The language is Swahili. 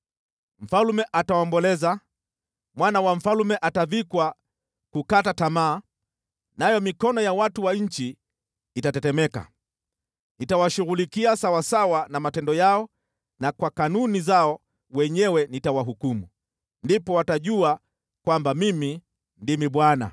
Mfalme ataomboleza, mwana wa mfalme atavikwa kukata tamaa, nayo mikono ya watu wa nchi itatetemeka. Nitawashughulikia sawasawa na matendo yao na kwa kanuni zao wenyewe nitawahukumu. Ndipo watajua kwamba Mimi ndimi Bwana .”